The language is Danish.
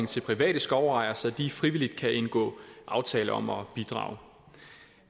til private skovejere så de frivilligt kan indgå aftaler om at bidrage